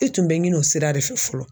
E tun bɛ ɲini o sira de fɛ fɔlɔ